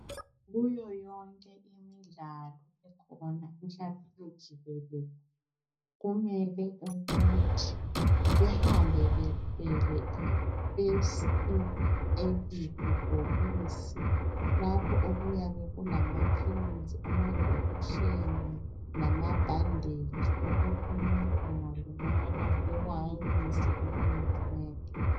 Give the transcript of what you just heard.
Kuyo yonke imidlalo ekhona emhlabeni jikelele kumele ukuthi behambe bethwele first aid bhokisi lapho okuyabe kulamaphilisi, amajekiseni lamabhanditshi okuthi abantu bengalimala bekwanise ukumnceda.